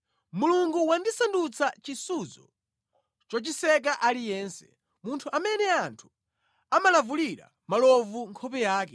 “Mulungu wandisandutsa chisudzo chochiseka aliyense, munthu amene anthu amalavulira malovu nkhope yake.